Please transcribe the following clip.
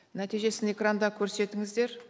нәтижесін экранда көрсетіңіздер